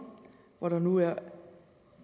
hvor der nu er